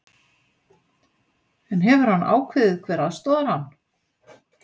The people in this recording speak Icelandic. En hefur hann ákveðið hver aðstoðar hann?